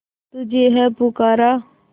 तुझे है पुकारा